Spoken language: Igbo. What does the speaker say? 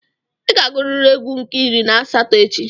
Ị ga-agụrịrị égwú nke iri na asatọ echi.